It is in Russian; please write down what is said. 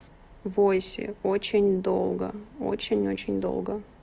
войси очень долго очень очень долго